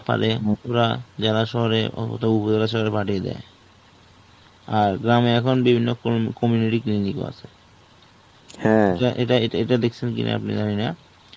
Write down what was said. জেলা শহরে পাঠিয়ে দেয়. আর গ্রামে এখন বিভিন্ন ক~ community unit গুলো আছে. এটা এটা দেখছেন কিনা আপনি জানিনা